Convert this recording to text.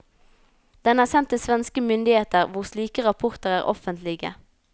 Den er sendt til svenske myndigheter, hvor slike rapporter er offentlige.